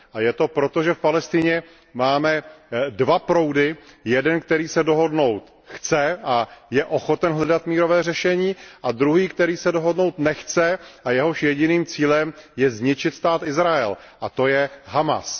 A je to proto, že v Palestině máme dva proudy, jeden, který se dohodnout chce a je ochoten hledat mírové řešení, a druhý, který se dohodnout nechce a jehož jediným cílem je zničit stát Izrael, a to je Hamás.